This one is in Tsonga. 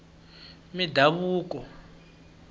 mindhavuko